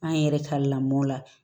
An yɛrɛ ka lamɔn la